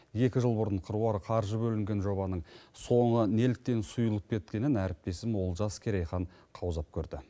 екі жыл бұрын қыруар қаржы бөлінген жобаның соңы неліктен сұйылып кеткенін әріптесім олжас керейхан қаузап көрді